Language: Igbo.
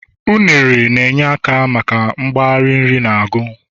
unere na-enye aka maka mgbari nri na ago